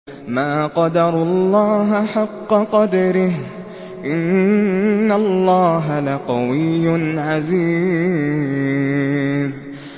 مَا قَدَرُوا اللَّهَ حَقَّ قَدْرِهِ ۗ إِنَّ اللَّهَ لَقَوِيٌّ عَزِيزٌ